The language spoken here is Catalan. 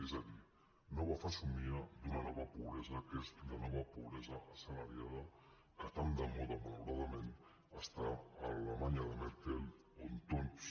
és a dir nova fesomia d’una nova pobresa que és la nova pobresa assalariada que tan de moda malauradament està a l’alemanya de merkel on tots